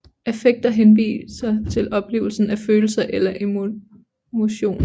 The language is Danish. Affekter henviser til oplevelsen af følelser eller emotioner